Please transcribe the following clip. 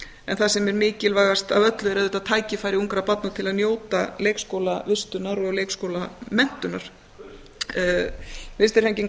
en það sem er mikilvægast af öllu er auðvitað tækifæri ungra barna til að njóta leikskólavistunar og leikskólamenntunar vinstri hreyfingin